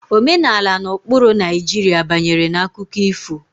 Omenala na ụkpụrụ Naịjirịa gbanyere n'akụkọ ifo